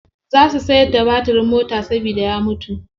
Za su siyar da batirin mota saboda ya mutu.